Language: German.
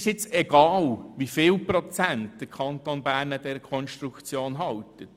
Es ist egal, wie viel Prozent der Kanton Bern an dieser Konstruktion hält.